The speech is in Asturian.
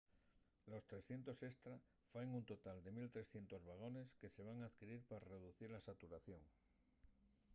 los 300 estra faen un total de 1 300 vagones que se van adquirir pa reducir la saturación